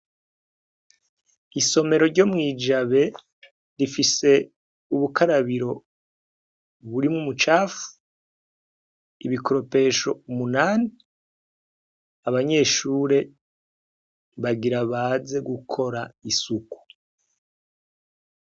Isomerero ryo mw’Ijabe, rifise ubukarabiro burimw’umucafu, ibikoropesho umunani, abanyeshure, bagira baze gukora isuku.